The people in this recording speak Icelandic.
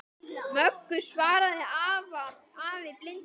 Möggu, svaraði afi blindi.